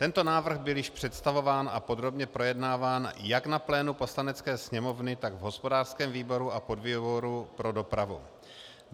Tento návrh byl již představován a podrobně projednáván jak na plénu Poslanecké sněmovny, tak v hospodářském výboru a podvýboru pro dopravu.